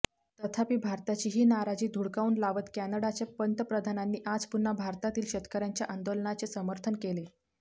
तथापि भारताची ही नाराजी धुडकाऊन लावत कॅनडाच्या पंतप्रधानांनी आज पुन्हा भारतातील शेतकऱ्यांच्या आंदोलनाचे समर्थन केले